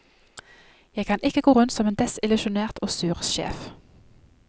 Jeg kan ikke gå rundt som en desillusjonert og sur sjef.